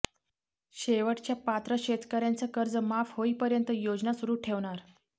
शेवटच्या पात्र शेतकऱ्यांचं कर्ज माफ होईपर्यंत योजना सुरू ठेवणार